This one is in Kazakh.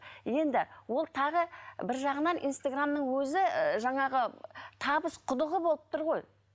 енді ол тағы бір жағынан инстаграмның өзі жаңағы табыс құдығы болып тұр ғой